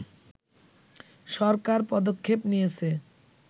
সরকার পদক্ষেপ নিয়েছে